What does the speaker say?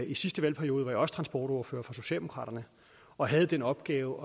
i sidste valgperiode var jeg også transportordfører for socialdemokraterne og havde den opgave